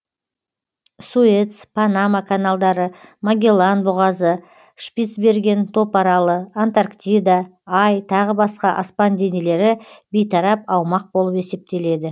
суэц панама каналдары магеллан бұғазы шпицберген топаралы антарктида ай тағы басқа аспан денелері бейтарап аумақ болып есептеледі